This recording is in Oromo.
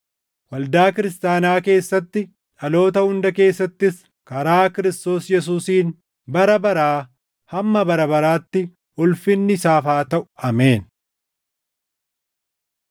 waldaa kiristaanaa keessatti, dhaloota hunda keessattis karaa Kiristoos Yesuusiin bara baraa hamma bara baraatti ulfinni isaaf haa taʼu! Ameen.